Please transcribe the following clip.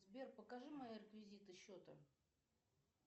сбер покажи мои реквизиты счета